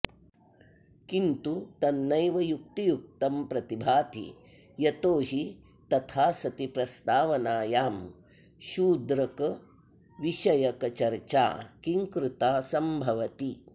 किन्तु तन्नैव युक्तियुक्तं प्रतिभाति यतो हि तथा सति प्रस्तावनायां शूद्रकविषयकचर्चा किंकृता सम्भवति